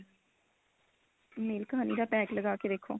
milk honey ਦਾ pack ਲਗਾ ਕੇ ਦੇਖੋ